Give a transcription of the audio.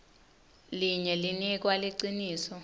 linye linikwa liciniso